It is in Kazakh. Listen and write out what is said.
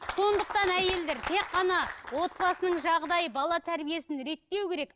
сондықтан әйелдер тек қана отбасының жағдайы бала тәрбиесін реттеу керек